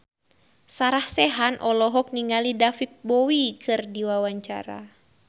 Sarah Sechan olohok ningali David Bowie keur diwawancara